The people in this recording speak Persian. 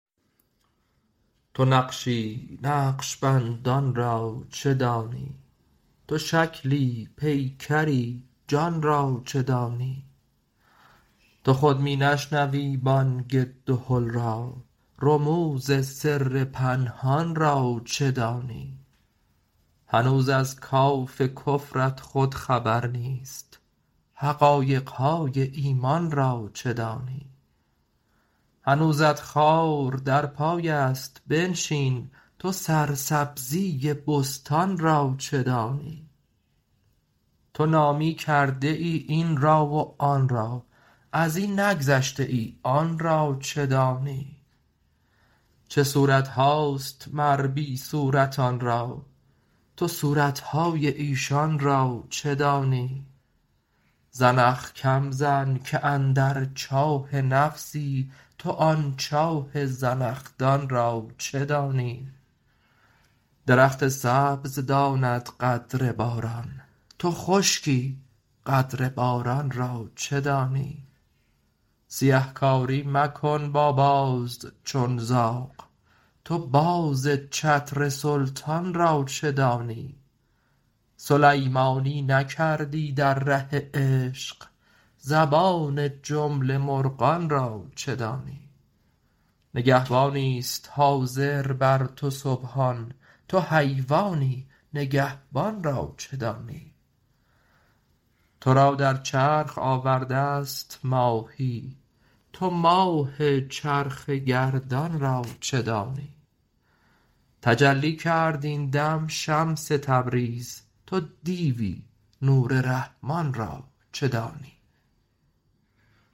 تو نقشی نقش بندان را چه دانی تو شکلی پیکری جان را چه دانی تو خود می نشنوی بانگ دهل را رموز سر پنهان را چه دانی هنوز از کات کفرت خود خبر نیست حقایق های ایمان را چه دانی هنوزت خار در پای است بنشین تو سرسبزی بستان را چه دانی تو نامی کرده ای این را و آن را از این نگذشته ای آن را چه دانی چه صورت هاست مر بی صورتان را تو صورت های ایشان را چه دانی زنخ کم زن که اندر چاه نفسی تو آن چاه زنخدان را چه دانی درخت سبز داند قدر باران تو خشکی قدر باران را چه دانی سیه کاری مکن با باز چون زاغ تو باز چتر سلطان را چه دانی سلیمانی نکردی در ره عشق زبان جمله مرغان را چه دانی نگهبانی است حاضر بر تو سبحان تو حیوانی نگهبان را چه دانی تو را در چرخ آورده ست ماهی تو ماه چرخ گردان را چه دانی تجلی کرد این دم شمس تبریز تو دیوی نور رحمان را چه دانی